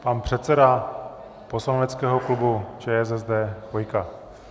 Pan předseda poslaneckého klubu ČSSD Chvojka.